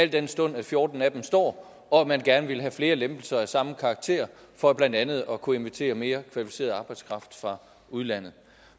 den stund at fjorten af dem står og at man gerne ville have flere lempelser af samme karakter for blandt andet at kunne invitere mere kvalificeret arbejdskraft fra udlandet